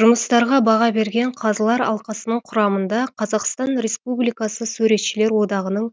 жұмыстарға баға берген қазылар алқасының құрамында қазақстан республикасы суретшілер одағының